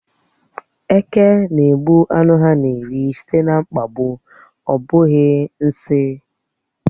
Eke na-egbu ánụ ha na-eri sìté na mkpagbu, ọ bụghị nsị.